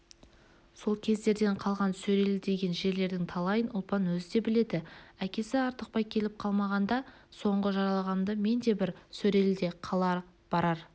сол кездерден қалған сөрелі деген жерлердің талайын ұлпан өзі де біледі әкесі артықбай келіп қалмағанда соңғы жараланғанымда мен де бір сөреліде қала барар